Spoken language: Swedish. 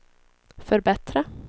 förbättra